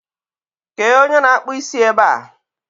kéé onye na akpụ isi é ba a?